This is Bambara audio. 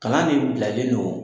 Kalan de bilalen don